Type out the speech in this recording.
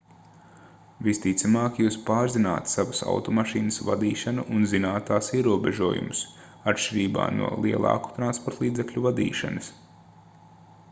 visticamāk jūs pārzināt savas automašīnas vadīšanu un zināt tās ierobežojumus atšķirībā no lielāku transportlīdzekļu vadīšanas